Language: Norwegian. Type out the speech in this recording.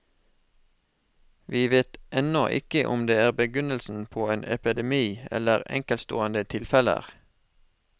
Vi vet ennå ikke om de er begynnelsen på en epidemi, eller enkeltstående tilfeller.